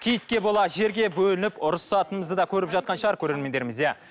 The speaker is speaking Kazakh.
киітке бола жерге бөлініп ұрсысатынымызды да көріп жатқан шығар көрермендеріміз иә